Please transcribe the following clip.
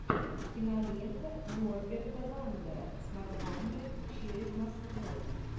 кинолента норберта вандера с названием через москву